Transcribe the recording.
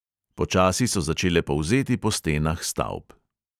Počasi so začele polzeti po stenah stavb.